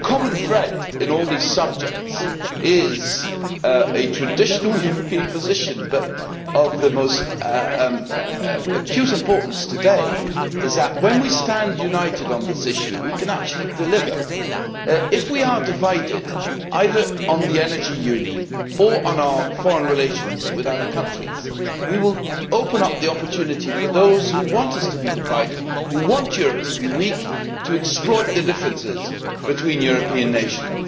The common thread in all these subjects is a traditional European position, but of the most acute importance today is that when we stand united on this issue we can actually deliver. If we are divided either on the Energy Union or on our foreign relations with other countries, we will open up the opportunity for those who want us to be divided, who want Europe to be weak, to exploit the differences between European nations.